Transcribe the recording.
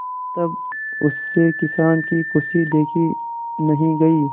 तब उससे किसान की खुशी देखी नहीं गई